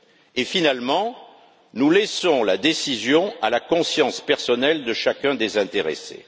Et finalement, nous laissons la décision à la conscience personnelle de chacun des intéressés.